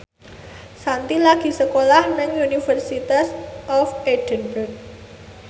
Shanti lagi sekolah nang University of Edinburgh